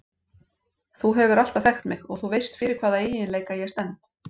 Þú hefur alltaf þekkt mig og þú veist fyrir hvaða eiginleika ég stend.